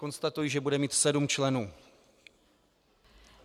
Konstatuji, že bude mít sedm členů.